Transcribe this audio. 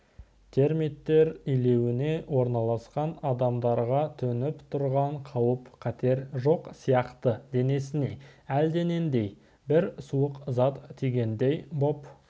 термиттер илеуіне орналасқан адамдарға төніп тұрған қауіп-қатер жоқ сияқты денесіне әлденендей бір суық зат тигендей боп